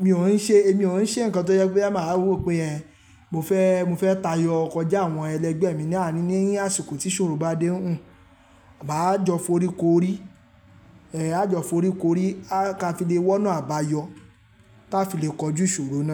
Mi ò ní ṣe, mi ò n ṣe nǹkan tó jẹ pe a máa rò pé ẹ. Mo fẹ́, mo fẹ́ tayọ kọjá àwọn ẹlẹgbẹ́ mi láàárín ní àsìkò tí ìṣòro bá dé ún. Maá jọ forí korí, ẹ, a jọ forí korí ká fi lè wọ́nà àbáyọ, tá fi lè kọjú ìṣòro náà.